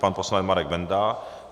Pan poslanec Marek Benda.